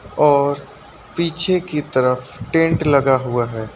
और पीछे की तरफ टेंट लगा हुआ है।